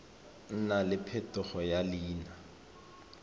nna le phetogo ya leina